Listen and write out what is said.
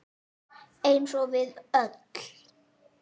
Eins og við öll.